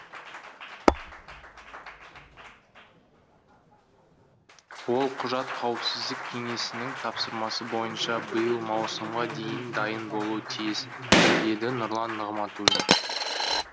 ол құжат қауіпсіздік кеңесінің тапсырмасы бойынша биыл маусымға дейін дайын болуы тиіс деді нұрлан нығматулин